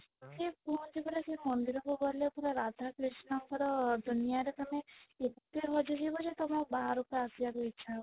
ସେ କୁହନ୍ତି ପରା ସେ ମନ୍ଦିର କୁ ଗଲେ ପୁରା ରାଧା କୃଷ୍ଣ ଙ୍କର ଦୁନିଆ ରେ ତମେ ଏତେ ହଜି ଯିବ ଯେ ବାହାରକୁ ଆସିବାକୁ ଆଉ ଇଚ୍ଛା ହବନି